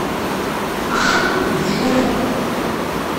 анджу